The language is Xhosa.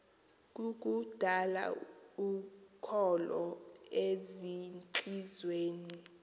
kukudala ukholo ezintliziyweni